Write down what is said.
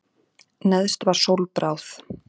Neðst var sólbráð.